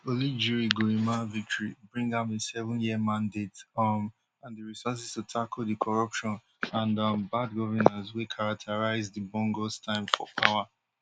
oligui nguema victory bring am a sevenyear mandate um and di resources to tackle di corruption and um bad governance wey characterised di bongos time for power